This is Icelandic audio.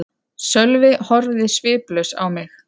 Sölvi horfði sviplaus á mig.